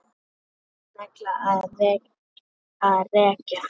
Negla nagla er að reykja.